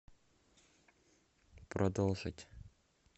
продолжить